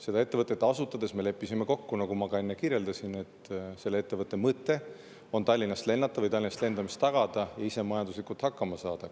Seda ettevõtet asutades me leppisime kokku, nagu ma ka enne kirjeldasin, et selle ettevõtte mõte on Tallinnast lennata või Tallinnast lendamine tagada ja ise majanduslikult hakkama saada.